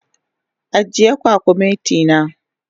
Agiye kwakumeti na.